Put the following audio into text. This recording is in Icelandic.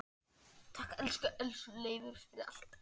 Takk, elsku Leifur, fyrir allt.